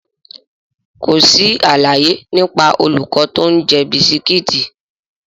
Kò sí àlàyé nípa olùkọ́ tó ń jẹ bisikíìtì.